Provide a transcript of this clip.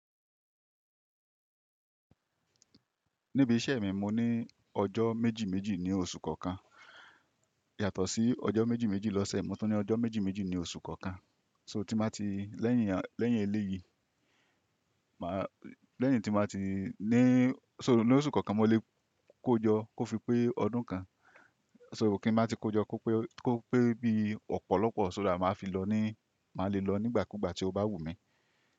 Níbi iṣẹ́ mi, mo ní ọjọ́ méjì méjì ní oṣù kọ̀ọ̀kan. Yàtọ̀ sí ọjọ́ méjì méjì lọ́sẹ̀, mo tún ní ọjọ́ méjì méjì ní oṣù kọ̀ọ̀kan. So tí má ti lẹ́yìn lẹ́yìn eléyìí, máa lẹ́yìn tí má ti ní, so ní oṣù kọ̀ọ̀kan mó lè kó jọ kó fi pé ọdún kan. So kí n má ti kó jọ kó pé kó pé bí ọ̀pọ̀lọpọ̀ so that má fi lọ ní má lè lọ nígbàkúgbà tí ó bá wù mí.